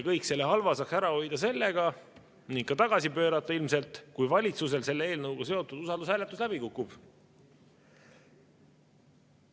Kõik selle halva saaks ära hoida sellega – ilmselt ka tagasi pöörata –, kui valitsusel selle eelnõuga seotud usaldushääletus läbi kukub.